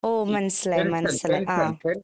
മനസിലായി മനസിലായി